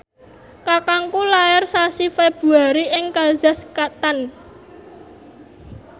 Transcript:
kakangku lair sasi Februari ing kazakhstan